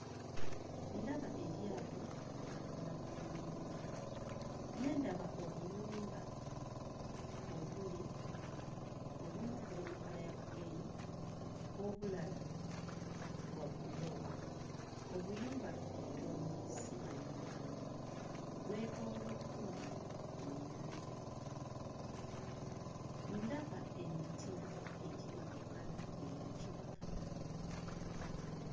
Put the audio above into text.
Ndaba eryato ku lubalama lw'ennyanja, ne ndaba obuyumba obuli obumu buli mu kkala ya gguliini, obulala bwa bulooka. Obuyumba butono, si mayumba manene; bwetooloddwa ku nnyanja. Ndaba emiti egiri mu kkala eya kiragala.